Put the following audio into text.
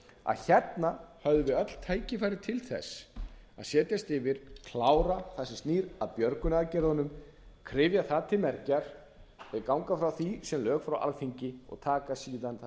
að hérna höfðum við öll tækifæri til þess að setjast yfir klára það sem snýr að björgunaraðgerðunum kryfja það til mergjar og ganga frá því sem lögum frá alþingi og taka síðan það sem snýr almennt að sparisjóðaumhverfinu og